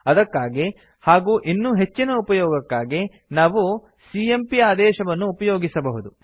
ಅದಕ್ಕಾಗಿ ಹಾಗೂ ಇನ್ನೂ ಹೆಚ್ಚಿನ ಉಪಯೋಗಕ್ಕಾಗಿ ನಾವು ಸಿಎಂಪಿ ಆದೇಶವನ್ನು ಉಪಯೋಗಿಸಬಹುದು